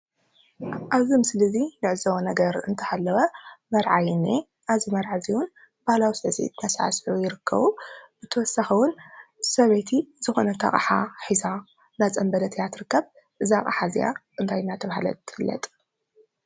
ኣብዚ ምስሊ እዚ ንዕዘቦ ነገር እንተሃለወ መርዓ እዩ ዝንኤ:: እዚ መርዓ እዚ እውን መርዓ ባህላዊ ስዕሲዒት እንዳሰዕስዑ ይርከቡ። ብተወሳኺ እውን ሰበይቲ ዝኾነት ኣቕሓ ሒዛ ኣብ ኢዳ እንዳፀንበለት እያ ትርከብ ።እዛ ኣቕሓ እዚኣ እንታይ እናተበሃለት ትፍለጥ ?